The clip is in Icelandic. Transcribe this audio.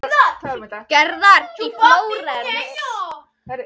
Gerðar í Flórens.